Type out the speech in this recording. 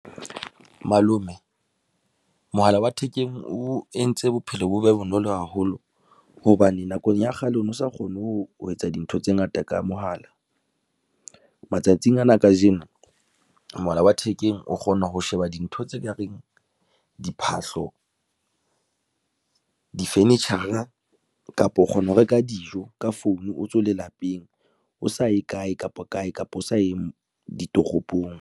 Malome mohala wa thekeng o entse bophelo bo be bonolo haholo hobane nakong ya kgale o no sa kgone ho ho etsa dintho tse ngata ka mohala matsatsing ana kajeno, mohala wa thekeng o kgona ho sheba dintho tse kareng diphahlo di furniture a kapa o kgona ho reka dijo ka founu, o satswe le lapeng, o sa ye kae kapa kae kapa o sa eng ditoropong.